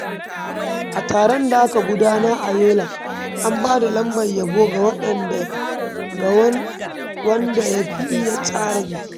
A taron da aka gudanar a Yola, an bada lambar yabo ga wanda ya fi iya tsara biki.